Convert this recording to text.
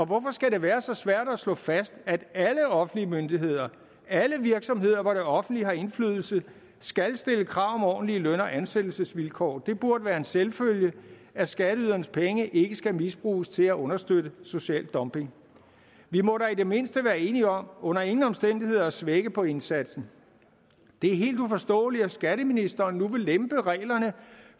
hvorfor skal det være så svært at slå fast at alle offentlige myndigheder alle virksomheder hvor det offentlige har indflydelse skal stille krav om ordentlige løn og ansættelsesvilkår det burde være en selvfølge at skatteydernes penge ikke skal misbruges til at understøtte social dumping vi må da i det mindste være enige om under ingen omstændigheder at svække på indsatsen det er helt uforståeligt at skatteministeren nu vil lempe reglerne